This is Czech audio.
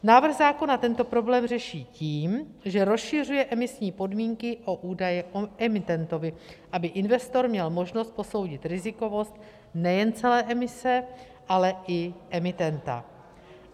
Návrh zákona tento problém řeší tím, že rozšiřuje emisní podmínky o údaje o emitentovi, aby investor měl možnost posoudit rizikovost nejen celé emise, ale i emitenta.